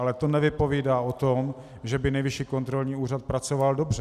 Ale to nevypovídá o tom, že by Nejvyšší kontrolní úřad pracoval dobře.